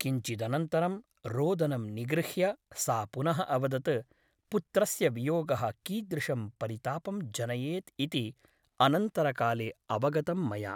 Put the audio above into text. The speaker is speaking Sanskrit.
किञ्चिदनन्तरं रोदनं निगृह्य सा पुनः अवदत् पुत्रस्य वियोगः कीदृशं परितापं जनयेत् इति अनन्तरकाले अवगतं मया ।